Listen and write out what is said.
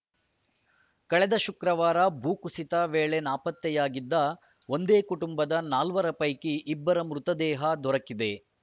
ಕಳೆದ ಶುಕ್ರವಾರ ಭೂಕುಸಿತ ವೇಳೆ ನಾಪತ್ತೆಯಾಗಿದ್ದ ಒಂದೇ ಕುಟುಂಬದ ನಾಲ್ವರ ಪೈಕಿ ಇಬ್ಬರ ಮೃತದೇಹ ದೊರಕಿದೆ